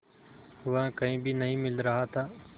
वह कहीं भी नहीं मिल रहा था